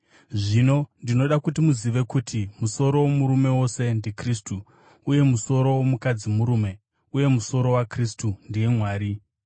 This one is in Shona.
Zvino ndinoda kuti muzive kuti musoro womurume wose ndiKristu, uye musoro womukadzi murume, uye musoro waKristu ndiye Mwari.